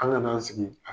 An ŋana sigi